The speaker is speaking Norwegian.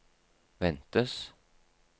ventes